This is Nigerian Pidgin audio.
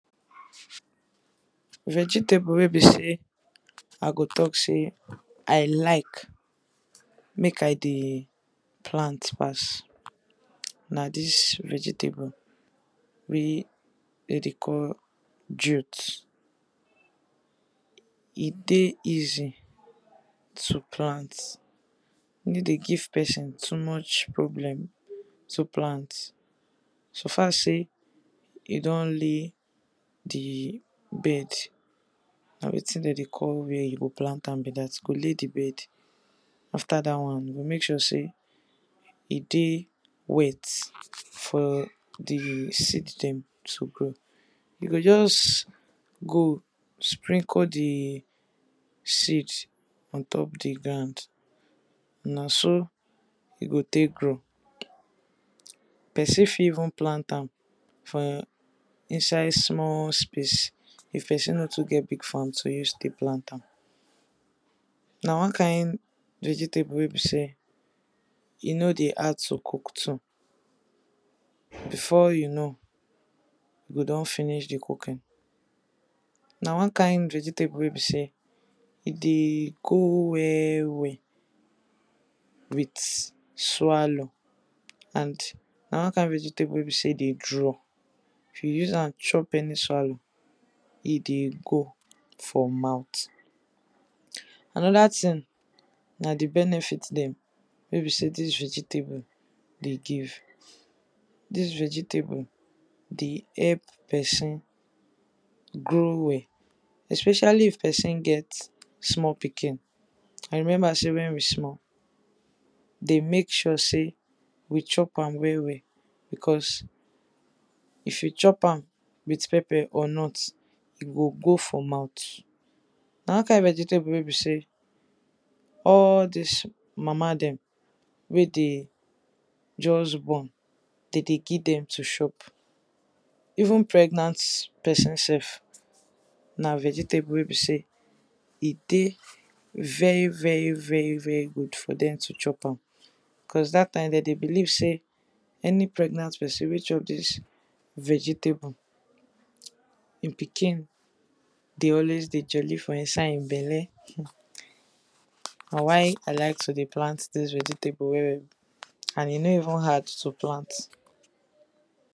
Vegetable wey be sey I go talk sey I like make I dey plant pass na dis vegetable wey dem dey call jot. E dey easy to plant, e no dey give person too much problem to plant suffer sey you don lay di bed, na wetin dem dey call where you wan plant am be dat, you go lay di bed. Afte r dat one you go make sure sey e dey wet for di seed dem to grow. You go just go sprinkle di seed on top di ground, na so e go take grow. Person fit even plant am for inside small space if person no get big farm to use take plant. Na one kind vegetable wey be sey, e no dey hard to cook too, before you know you go don finish di cooking. Na one kind vegetable wey be sey e dey go well well with swallow and na one kind vegetable wey be sey e dey draw. If you use am chop any swallow, e dey go for mouth. Another thing na di benefit dem wey be sey dis vegetable dey give. Dis vegetable dey help person grow well, especially if person get small pikin, I remember sey wen we small, we dey make sure sey we chop am well well, because if you chop am with pepper or not, e go go for mouth. N a one kind vegetable wey be sey wey dey just born, dem dey give dem to chop, even pregnant person sef na vegetable wey be sey e dey very very very very good for dem to chop am because dat time dem dey believe sey any pregnant person wey chop dis vegetable, im pikin dey always jolly for inside im belle, na why I like to dey plant dis vegetable well well and e no even hard to plant.